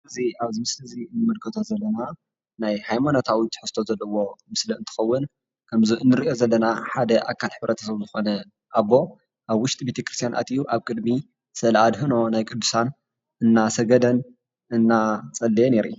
እዚ ኣብዚ ምስሊ እዚ እንምልከቶ ዘለና ናይ ሃይማኖታዊ ትሕዝቶ ዘለዎ ምስሊ እንትከዉን ከምዚእንርእዮ ዘለና ሓደ ኣካል ሕብረተሰብ ዝኮነ ኣቦ ኣብ ዉሽጢ ቤቴ ክርስትያን ኣትዩ ኣብ ቅድሚ ስእለ ኣድሕኖ ናይ ቅድሳን እናሰገደን እናጽለየን የርኢ።